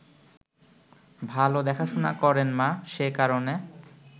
ভাল দেখাশোনা করেন মা, সে কারণে